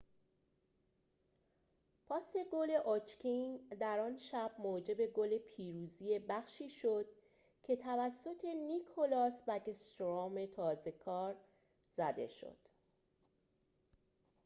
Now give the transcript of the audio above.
پاس گل اوچکین در آن شب موجب گل پیروزی بخشی شد که توسط نیکلاس بکستروم تازه‌کار زده شد